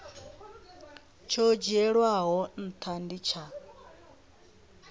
tsho dzhielwaho ntha ndi tsha